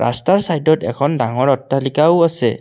ৰাস্তাৰ চাইদত এখন ডাঙৰ অট্টালিকাও আছে।